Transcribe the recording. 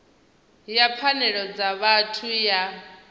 ya pfanelo dza vhathu ya